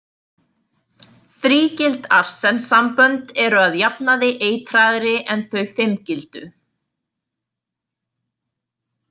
Þrígild arsensambönd eru að jafnaði eitraðri en þau fimmgildu.